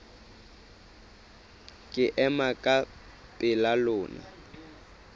ke ema ka pela lona